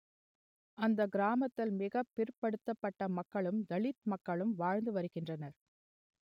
அந்தக் கிராமத்தில் மிக பிற்படுத்தப்பட்ட மக்களும் தலித் மக்களும் வாழ்ந்து வருகின்றனர்